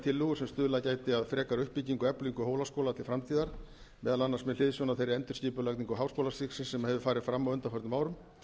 tillögur sem stuðlað gætu að frekari uppbyggingu og eflingu hólaskóla til framtíðar meðal annars með hliðsjón af þeirri endurskipulagningu háskólastigsins sem hefur farið fram á undanförnum árum